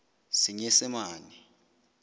senyesemane